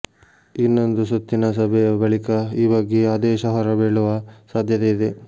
ಇನ್ನೊಂದು ಸುತ್ತಿನ ಸಭೆಯ ಬಳಿಕ ಈ ಬಗ್ಗೆ ಆದೇಶ ಹೊರಬೀಳುವ ಸಾಧ್ಯತೆ ಇದೆ